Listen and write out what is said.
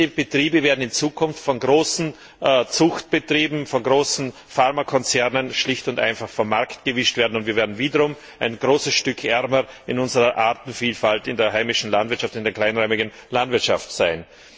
Diese Betriebe werden in Zukunft von großen Zuchtbetrieben, von großen Pharmakonzernen schlicht und einfach vom Markt gewischt werden, und wir werden wiederum ein großes Stück ärmer in unserer Artenvielfalt, in der heimischen Landwirtschaft, in der kleinräumigen Landwirtschaft sein.